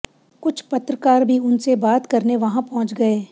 कुछ पत्रकार भी उनसे बात करने वहां पहुंच गए